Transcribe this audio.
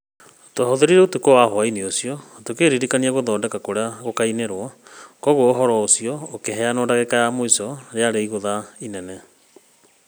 Twahũthĩrĩte ũtukũ wa hwaĩ ũcio tũkĩrĩkĩrĩria gũthondeka kũrĩa gũkainĩrwo, kwoguo ũhoro ũcio ũkĩheanwo dagĩka ya mũico yarĩ igũtha inene.